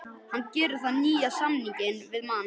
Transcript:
Hann gerði nýjan samning við Man.